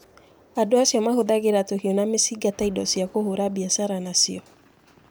Andũ acio mahũthagĩra tũhiũ na mĩcinga ta indo cia kũhũra biacara na cio.